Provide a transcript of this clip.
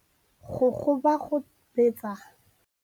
Go gobagobetsa